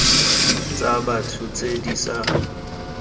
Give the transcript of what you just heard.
tsa batho tse di sa